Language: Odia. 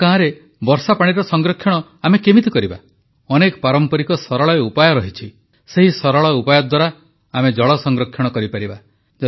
ଗାଁଗାଁରେ ବର୍ଷାପାଣିର ସଂରକ୍ଷଣ ଆମେ କେମିତି କରିବା ଅନେକ ପାରମ୍ପରିକ ସରଳ ଉପାୟ ଅଛି ସେହି ସରଳ ଉପାୟ ଦ୍ୱାରା ଆମେ ଜଳ ସଂରକ୍ଷଣ କରିପାରିବା